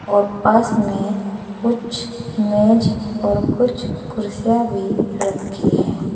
और पास में कुछ मेज़ और कुछ कुर्सियां भी रखी है।